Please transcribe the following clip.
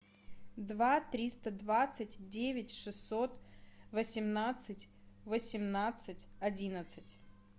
два триста двадцать девять шестьсот восемнадцать восемнадцать одиннадцать